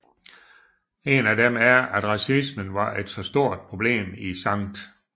En af dem er at racisme var et så stort problem i St